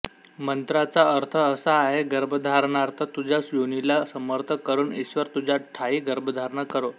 मंत्राचा अर्थ असा आहे गर्भधारणार्थ तुझ्या योनीला समर्थ करून ईश्वर तुझ्या ठायी गर्भधारणा करो